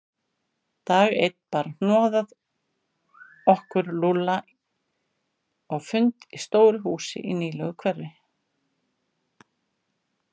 Dag einn bar hnoðað okkur Lúlla á fund í stóru húsi í nýlegu hverfi.